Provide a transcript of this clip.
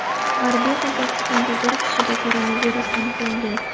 G‘arbiy Qozog‘istonda bir kishida koronavirus aniqlangan.